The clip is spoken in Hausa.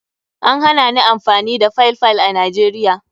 An hana amfani da Paypal a Najeriya.